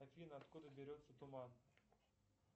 афина откуда берется туман